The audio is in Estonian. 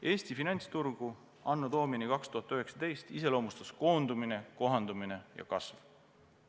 Eesti finantsturgu anno Domini 2019 iseloomustas koondumine, kohandumine ja kasv.